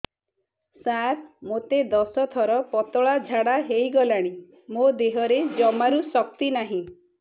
ସାର ମୋତେ ଦଶ ଥର ପତଳା ଝାଡା ହେଇଗଲାଣି ମୋ ଦେହରେ ଜମାରୁ ଶକ୍ତି ନାହିଁ